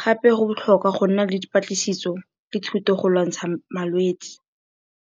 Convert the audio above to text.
Gape go botlhokwa go nna le dipatlisiso le thuto go lwantsha malwetsi.